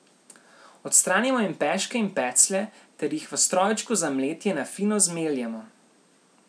Odstranimo jim peške in peclje ter jih v strojčku za mletje na fino zmeljemo.